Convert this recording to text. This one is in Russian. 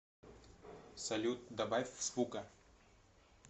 салют добавь звука